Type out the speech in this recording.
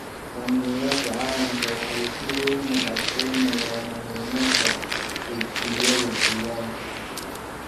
Hoggaamiyeyaasha caalamka waxay si weyn u adkaynayaan muhiimadda heshiisyada deegaanka.